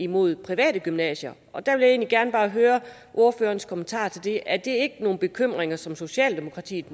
mod private gymnasier og der vil jeg gerne høre ordførerens kommentarer til det er det ikke nogen bekymringer som socialdemokratiet